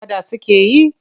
Faɗa suke yi?